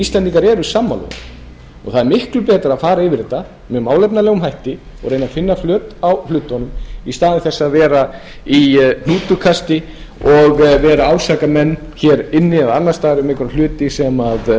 íslendingar eru sammála þessu og það er miklu betra að fara yfir þetta með málefnalegum hætti og reyna að finna flöt á hlutunum í stað þess að vera í hnútukasti og vera að ásaka menn hér inni eða annars staðar um einhverja hluti sem standast ekki